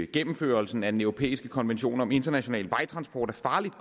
gennemførelsen af den europæiske konvention om international vejtransport af farligt